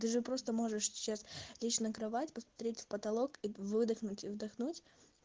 ты же просто можешь сейчас лечь на кровать посмотреть в потолок и выдохнуть и вдохнуть